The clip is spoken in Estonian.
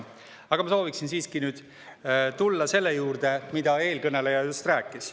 Aga ma sooviksin siiski nüüd tulla selle juurde, mida eelkõneleja just rääkis.